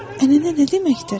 Ənənə nə deməkdir?